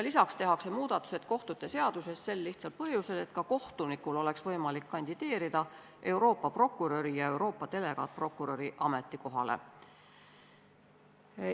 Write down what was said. Lisaks tehakse muudatused kohtute seaduses sel lihtsal põhjusel, et ka kohtunikul oleks võimalik kandideerida Euroopa prokuröri ja Euroopa delegaatprokuröri ametikohale.